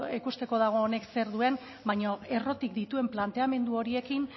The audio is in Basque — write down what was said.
ikusteko dago honek zer duen baino errotik dituen planteamendu horiekin